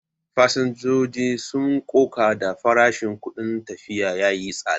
Fasinjojin sun koka da farashin kudin tafiya yayi tsada.